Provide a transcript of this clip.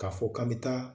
K'a fɔ k'an bɛ taa